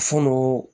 Fulu